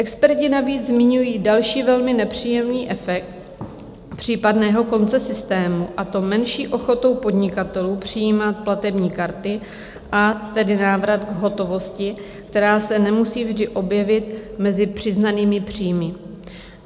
Experti navíc zmiňují další velmi nepříjemný efekt případného konce systému, a to menší ochotu podnikatelů přijímat platební karty, a tedy návrat v hotovosti, která se nemusí vždy objevit mezi přiznanými příjmy.